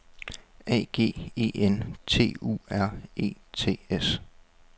A G E N T U R E T S